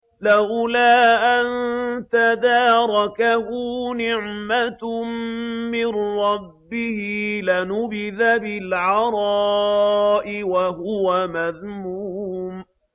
لَّوْلَا أَن تَدَارَكَهُ نِعْمَةٌ مِّن رَّبِّهِ لَنُبِذَ بِالْعَرَاءِ وَهُوَ مَذْمُومٌ